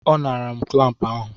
Ọ naara m klampụ ahụ.